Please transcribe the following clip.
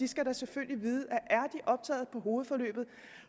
skal da selvfølgelig vide at optaget på hovedforløbet og